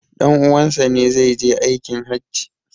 Dan' uwansa ne zai je aikin hajji